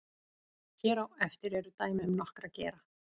hér á eftir eru dæmi um nokkra gera